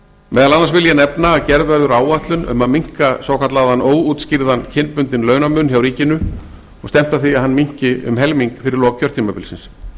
meðal annars vil ég nefna að gerð verður áætlun um að minnka svokallaðan óútskýrðan kynbundinn launamun hjá ríkinu og stefnt að því að hann minnki um helming fyrir lok kjörtímabilsins